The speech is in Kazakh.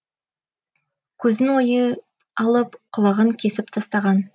көзін ойып алып құлағын кесіп тастаған